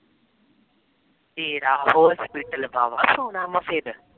ਤੇਰਾ hospital